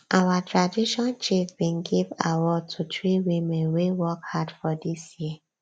our tradition chief bin give award to three women wey work hard for dis year